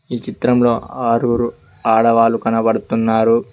ఈ చిత్రంలో ఆరుగురు ఆడవాళ్లు కనబడుతున్నారు.